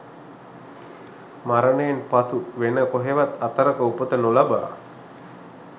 මරණයෙන් පසු වෙන කොහේවත් අතරක උපත නොලබා